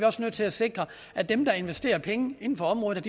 også nødt til at sikre at dem der investerer penge inden for området